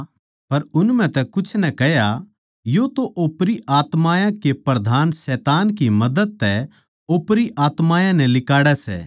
पर उन म्ह तै कुछ नै कह्या यो तो ओपरी आत्मायाँ के प्रधान शैतान की मदद तै ओपरी आत्मायाँ नै लिकाड़ै सै